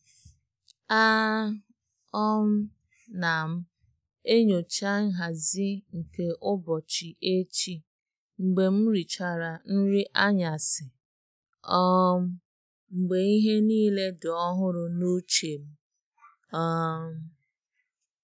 A um na m enyocha nhazi nke ụbọchi echi mgbe m richara nri anyasi, um mgbe ihe niile dị ọhụrụ n'uche m. um